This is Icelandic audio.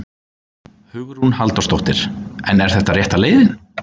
Hugrún Halldórsdóttir: En er þetta rétta leiðin?